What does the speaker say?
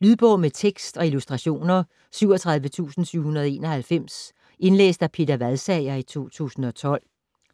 Lydbog med tekst og illustrationer 37791 Indlæst af Peter Vadsager, 2012.